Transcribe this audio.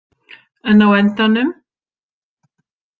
En á endanum?